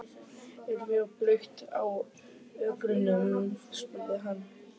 Er mjög blautt á ökrunum? spurði hann.